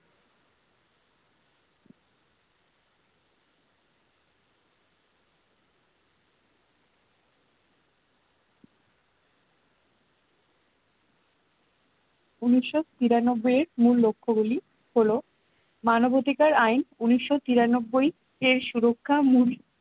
উনিশোতিরানব্বই এর মূল লক্ষ্য গুলি হল মানবাধিকার আইন উনিশোতিরানব্বই এর সুরক্ষা মূল